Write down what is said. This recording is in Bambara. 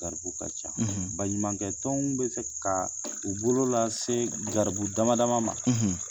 Garibu ka ca; ; Baɲumakɛ tɔnw bɛ se ka u bolo lase se garibu dama dama ma;